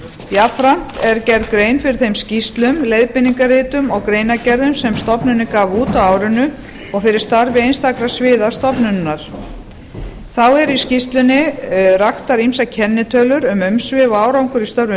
jafnframt er gerð grein fyrir þeim skýrslum leiðbeiningaritum og greinargerðum sem stofnunin gaf út á árinu og fyrir starfi einstakra sviða stofnunarinnar þá er í skýrslunni raktar ýmsar kennitölur um umsvif og árangur í störfum